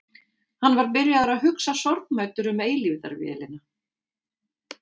Hann var byrjaður að hugsa sorgmæddur um eilífðarvélina.